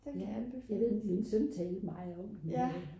jeg ved min søn talte meget om den